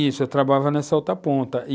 Isso, eu trabalhava nessa outra ponta e,